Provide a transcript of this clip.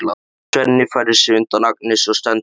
Svenni færir sig undan Agnesi og stendur upp.